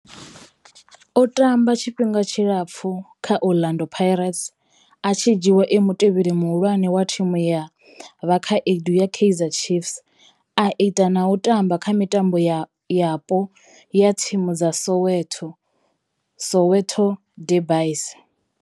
O tamba tshifhinga tshilapfhu kha Orlando Pirates, a tshi dzhiiwa e mutevheli muhulwane wa thimu ya vhakhaedu ya Kaizer Chiefs, a ita na u tamba kha mitambo yapo ya thimu dza Soweto, Soweto derbies.